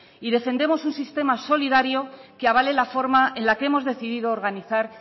y defendemos un sistema solidario que avale la forma en la que hemos decidido organizar